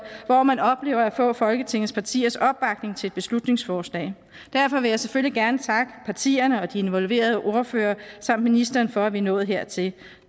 hvor man oplever at få folketingets partiers opbakning til et beslutningsforslag derfor vil jeg selvfølgelig gerne takke partierne de involverede ordførere og ministeren for at vi er nået hertil